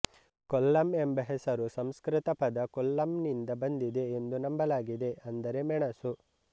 ಕೊಲ್ಲಂ ಎಂಬ ಹೆಸರು ಸಂಸ್ಕೃತ ಪದ ಕೊಲ್ಲಂನಿಂದ ಬಂದಿದೆ ಎಂದು ನಂಬಲಾಗಿದೆ ಅಂದರೆ ಮೆಣಸು